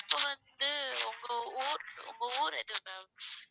இப்ப வந்து உங்க ஊர் ஊர் எது ma'am